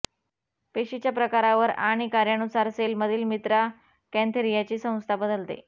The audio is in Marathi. पेशीच्या प्रकारावर आणि कार्यानुसार सेलमधील मित्रा कॅन्थेरियाची संख्या बदलते